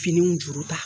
Finiw juru ta